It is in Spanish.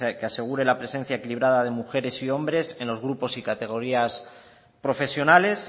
que asegure la presencia equilibrada de mujeres y hombres en los grupos y categorías profesionales